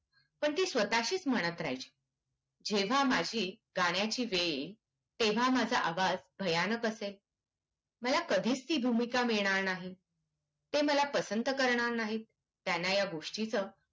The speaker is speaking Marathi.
पण ती स्वतशीच म्हणत राहायची जेव्हा माझे गाण्याची वेळ येईल तेव्हा माझा आवाज भयानक असेल माला कधीच ती भूमिका मिळणार नाही ते माला पसंद करणार नाहीत त्यांना ह्या गोस्टिच